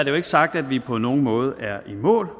jo ikke sagt at vi på nogen måde er i mål